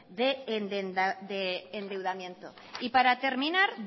de endeudamiento y para terminar